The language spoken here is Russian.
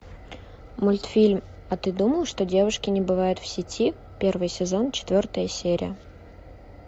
мультфильм а ты думал что девушки не бывают в сети первый сезон четвертая серия